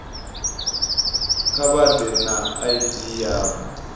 kha vha ḓe na id yavho